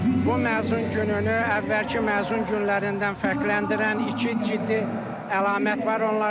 Bu məzun gününü əvvəlki məzun günlərindən fərqləndirən iki ciddi əlamət var.